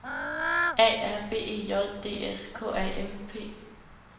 A R B E J D S K A M P